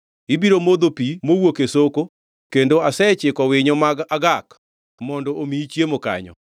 Ibiro modho pi mowuok e soko kendo asechiko winyo mag agak mondo omiyi chiemo kanyo.”